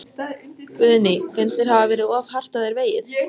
Guðný: Finnst þér hafa verið of hart að þér vegið?